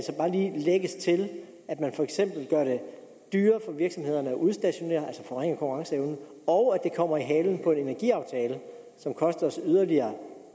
lægges til at man for eksempel gør det dyrere for virksomhederne at udstationere altså forringer konkurrenceevnen og at det kommer i halen på en energiaftale som koster os yderligere